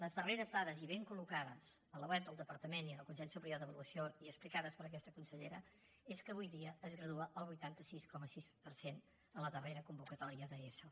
les darreres dades i ben collocades a la web del departament i del consell superior d’avaluació i explicades per aquesta consellera són que avui dia es gradua el vuitanta sis coma sis per cent a la darrera convocatòria d’eso